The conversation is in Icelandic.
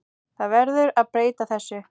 Það verður að breyta þessu.